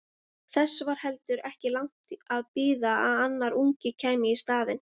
Þess var heldur ekki langt að bíða að annar ungi kæmi í staðinn.